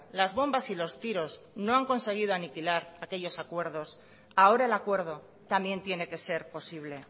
las bombas y los tiros no han conseguido aniquilar aquellos acuerdos ahora el acuerdo también tiene que ser posible